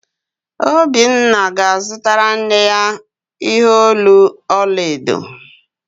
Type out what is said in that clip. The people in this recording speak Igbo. Obinna ga-azụtara nne ya ihe olu ọla edo